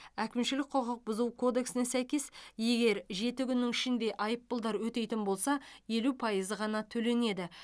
әкімшілік құқық бұзу кодексіне сәйкес егер жеті күннің ішінде айыппұлдар өтейтін болса елу пайызы ғана төленеді